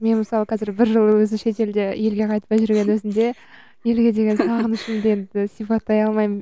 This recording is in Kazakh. мен мысалы қазір бір жыл өзім шетелде елге қайтпай жүргеннің өзінде елге деген сағынышымды енді сипаттай алмаймын